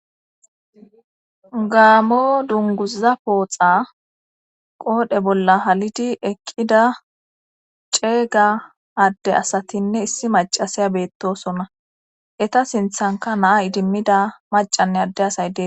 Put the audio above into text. Gaamo dunguza pooxa qoodhe bolla halidi eqqida ceega adde asatinne issi macasaya beettosonna eta sinthanka naa idimmida macanne adde asay dee